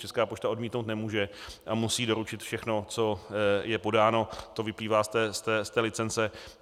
Česká pošta odmítnout nemůže a musí doručit všechno, co je podáno, to vyplývá z té licence.